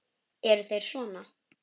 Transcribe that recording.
Eru þeir sona?